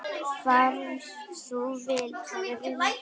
Far þú vel, kæri vinur.